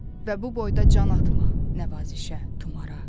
Və bu boyda can atma nəvazişə, tumara.